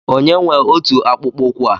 Onye nwe ọtu akpụkpọ ụkwụ a?